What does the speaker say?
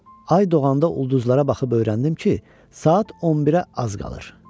Ay doğanda ulduzlara baxıb öyrəndim ki, saat 11-ə az qalır.